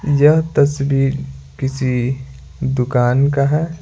यह तस्वीर किसी दुकान का है।